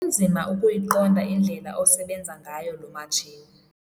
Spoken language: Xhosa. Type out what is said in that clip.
Kunzima ukuyiqonda indlela osebenza ngayo lo matshini.